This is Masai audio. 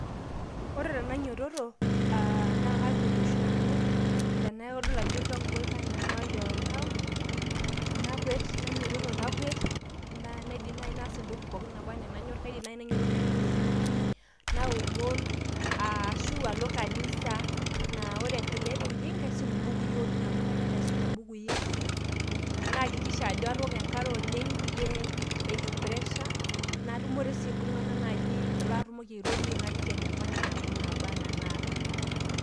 ore tenainyitoto naa kakwet oshi nanu tenadol ajo kaanyamal oltau, nakwet, nainyiotot nakwet, naa naidim naaji naas entoki pookin naba anaa enanyor, kaidim naaji nainyiototo naing'or e movie ,naomon, ashu alo kanisa. naa ore kulie tokitin naa kaisum ibukui oleng amu kanyor aisuma mbukui, nayakikisha ajo atooko enkare oleng, peyie eishu pressure, natumore iltunganak aliki enyamali naba anaa enaata.